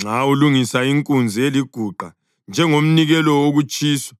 Nxa ulungisa inkunzi eliguqa njengomnikelo wokutshiswa